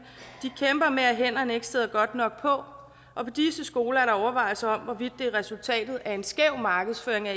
at med at hænderne ikke sidder godt nok på på disse skoler er der overvejelser om hvorvidt det er resultatet af en skæv markedsføring af